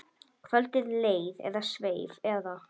Kvöldið leið eða sveif eða.